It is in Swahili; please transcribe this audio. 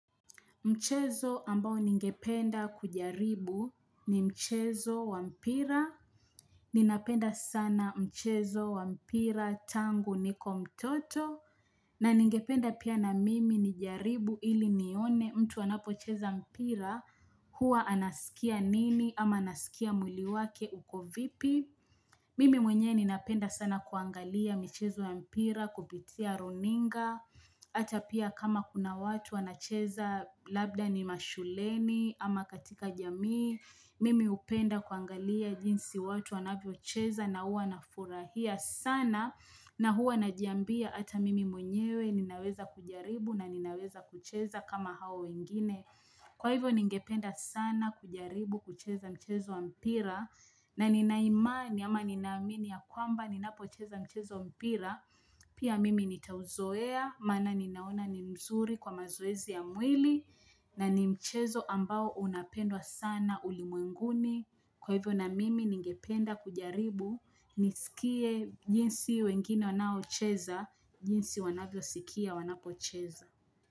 Mchezo ambao ningependa kujaribu ni mchezo wa mpira. Ninapenda sana mchezo wa mpira tangu niko mtoto. Na ningependa pia na mimi nijaribu ili nione mtu anapocheza mpira huwa anasikia nini ama anasikia mwili wake uko vipi. Mimi mwenyewe ninapenda sana kuangalia mchezo wa mpira kupitia runinga. Hata pia kama kuna watu wanacheza labda ni mashuleni ama katika jamii Mimi hupenda kuangalia jinsi watu wanavyocheza na huwa nafurahia sana na huwa najiambia hata mimi mwenyewe ninaweza kujaribu na ninaweza kucheza kama hao wengine Kwa hivyo ningependa sana kujaribu kucheza mchezo wa mpira na nina imani ama ninaamini ya kwamba ninapocheza mchezo wa mpira Pia mimi nitauzoea, maana ninaona ni mzuri kwa mazoezi ya mwili na ni mchezo ambao unapendwa sana ulimwenguni. Kwa hivyo na mimi ningependa kujaribu, nisikie jinsi wengine wanaocheza, jinsi wanavyosikia wanapocheza.